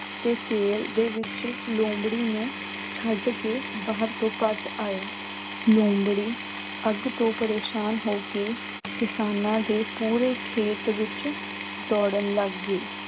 ਤੇ ਤੇਲ ਦੇ ਵਿੱਚ ਲੂੰਬੜੀ ਨੂੰ ਛੱਡ ਕੇ ਬਾਹਰ ਤੋਂ ਭੱਜ ਆਇਆ, ਲੂੰਬੜੀ ਅੱਗ ਤੋਂ ਪਰੇਸਾਨ ਹੋ ਕੇ ਕਿਸਾਨਾਂ ਦੇ ਪੂਰੇ ਖੇਤ ਵਿੱਚ ਦੌੜਨ ਲੱਗ ਗਈ।